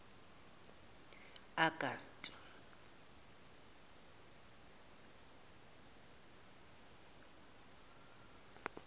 augusti